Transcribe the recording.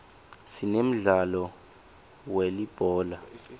sinemdlalo we uulibhola